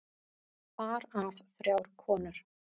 Þar af þrjár konur.